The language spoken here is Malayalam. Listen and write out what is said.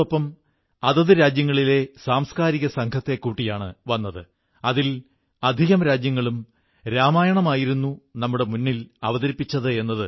മുമ്പ് ദുർഗ്ഗാക്ഷേത്രങ്ങളിൽ അമ്മയുടെ ദർശനത്തിനായി മേളയെന്നപോലെയുള്ള അന്തരീക്ഷം രൂപപ്പെടുംവിധം ജനക്കൂട്ടമുണ്ടാകാറുണ്ടായിരുന്നു